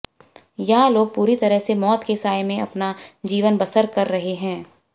यहां लोग पूरी तरह से मौत के साय में अपना जीवन बसर कर रहे है